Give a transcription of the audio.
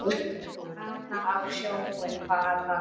Fara á sjóinn bara.